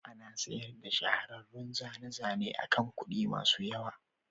Ana sayar da shahararrun zane-zane akan kuɗi masu yawa.